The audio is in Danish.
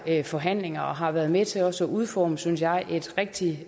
forhandlinger og har været med til også at udforme et synes jeg rigtig